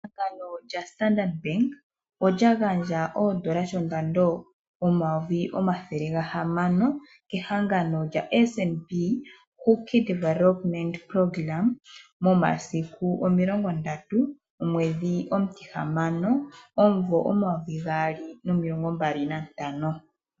Ehangano lyaStandard bank olya gandja oondola dhondando omayovi omathele gahamano kehangano lyaSNB hookid momasiku omilongo ndatu omwedhi omutihamano omuvo omayovi gaali nomilongo mbali nantano.